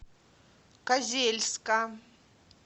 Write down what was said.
козельска